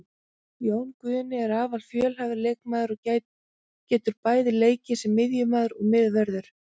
Jón Guðni er afar fjölhæfur leikmaður og getur bæði leikið sem miðjumaður og miðvörður.